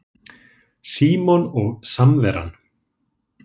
SÍMON OG SAMVERAN